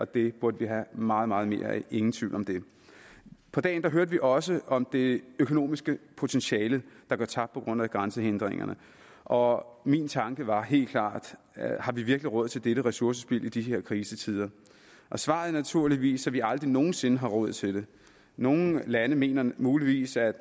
det burde vi have meget meget mere af ingen tvivl om det på dagen hørte vi også om det økonomiske potentiale der går tabt på grund af grænsehindringerne og min tanke var helt klart har vi virkelig råd til dette ressourcespild i disse krisetider og svaret er naturligvis at vi aldrig nogensinde har råd til det nogle lande mener muligvis at